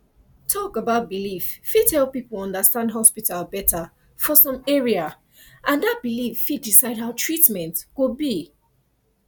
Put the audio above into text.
talk about belief fit help people understand hospital better for some area and that belief fit decide how treatment go be